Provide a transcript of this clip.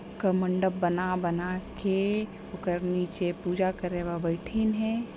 का मंडप बना-बना के ओकर नीचे पूजा करे ब बइठिन हे।